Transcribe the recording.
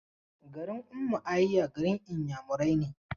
Garin Ummuahia, garin Inyamurai ne.